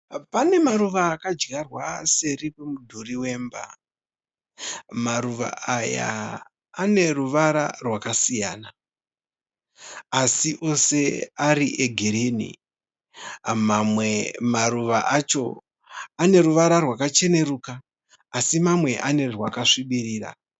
Pane maruva akadyarwa seri kwemudhuri wemba. Maruva aya aneruvara rwakasiyana asi ose ari egirini mamwe maruva acho ane ruvara rwakacheneruka asi mamwe ane rwakasvibirira